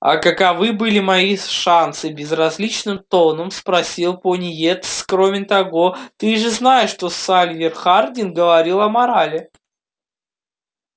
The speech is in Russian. а каковы были мои шансы безразличным тоном спросил пониетс кроме того ты же знаешь что сальвор хардин говорил о морали